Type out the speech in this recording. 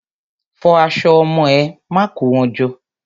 Fọ aṣọ ọmọ ẹ. Má kó wọn jọ!